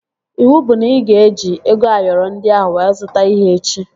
Iwu bụ na ị ga-eji ego Ayoro ndị ahụ wee zụta ihe echi!